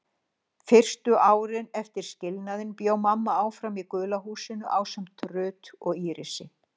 Fyrstu árin eftir skilnaðinn bjó mamma áfram í gula húsinu ásamt Ruth og Írisi.